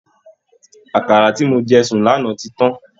Àkàrà ti mo jẹ sùn lánàá tí tán